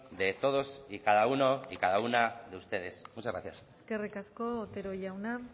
de todos y cada uno y cada una de ustedes muchas gracias eskerrik asko otero jauna